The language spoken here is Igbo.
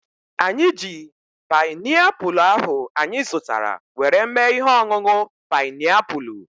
Anyị ji painiapulu ahu anyị zụtara were mee ihe ọṅụṅụ painiapulu